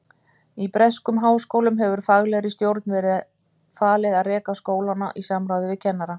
Í breskum háskólum hefur faglegri stjórn verið falið að reka skólana í samráði við kennara.